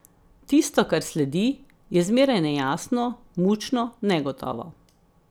Tisto, kar sledi, je zmeraj nejasno, mučno, negotovo.